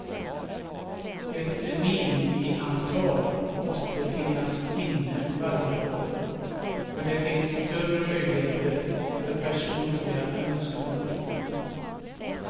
Ett minimiantal måste finnas inne varje dag, men det finns större möjligheter för personliga önskemål.